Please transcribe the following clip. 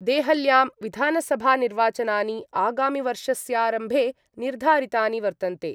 देहल्यां विधानसभानिर्वाचनानि आगामिवर्षस्यारम्भे निर्धारितानि वर्तन्ते।